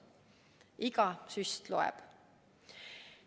Iga süst loeb!